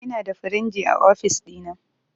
Inada firinji a ofis ɗina